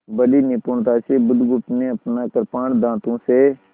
बड़ी निपुणता से बुधगुप्त ने अपना कृपाण दाँतों से